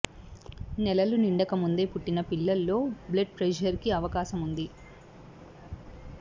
నెలలు నిండకముందే పుట్టిన పిల్లలో లో బ్లడ్ ప్రెజర్ కి అవకాశం ఉంది